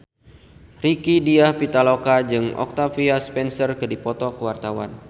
Rieke Diah Pitaloka jeung Octavia Spencer keur dipoto ku wartawan